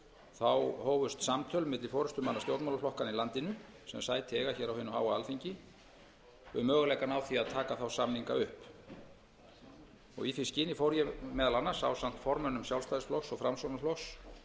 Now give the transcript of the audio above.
þá hófust samtöl milli forustumanna stjórnmálaflokkanna í landinu sem sæti eiga á hinu háa alþingi um möguleikana á því að taka þá samninga upp í því skyni fór ég meðal annars ásamt formönnum sjálfstæðisflokks og framsóknarflokks